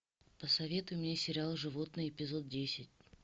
посоветуй мне сериал животные эпизод десять